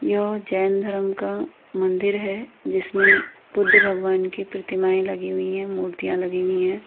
यह जैन धर्म का मंदिर है जिसमे बुध भगवान की प्रतिमाये लगी हुई है मूर्तियां लगी हुई है।